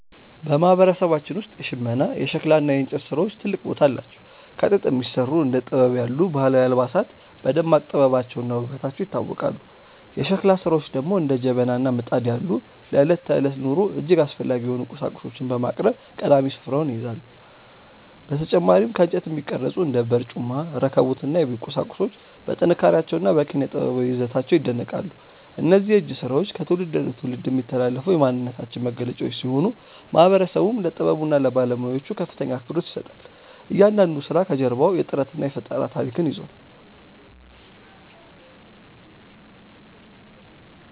በማህበረሰባችን ውስጥ የሽመና፣ የሸክላ እና የእንጨት ስራዎች ትልቅ ቦታ አላቸው። ከጥጥ የሚሰሩ እንደ ቲቤት ያሉ ባህላዊ አልባሳት በደማቅ ጥበባቸውና ውበታቸው ይታወቃሉ። የሸክላ ስራዎች ደግሞ እንደ ጀበና እና ምጣድ ያሉ ለዕለት ተዕለት ኑሮ እጅግ አስፈላጊ የሆኑ ቁሳቁሶችን በማቅረብ ቀዳሚውን ስፍራ ይይዛሉ። በተጨማሪም ከእንጨት የሚቀረጹ እንደ በርጩማ፣ ረከቦት እና የቤት ቁሳቁሶች በጥንካሬያቸውና በኪነ-ጥበባዊ ይዘታቸው ይደነቃሉ። እነዚህ የእጅ ስራዎች ከትውልድ ወደ ትውልድ የሚተላለፉ የማንነታችን መገለጫዎች ሲሆኑ፣ ማህበረሰቡም ለጥበቡና ለባለሙያዎቹ ከፍተኛ አክብሮት ይሰጣል። እያንዳንዱ ስራ ከጀርባው የጥረትና የፈጠራ ታሪክ ይዟል።